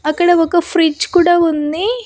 అక్కడ ఒక ఫ్రిడ్జ్ కూడా ఉంది.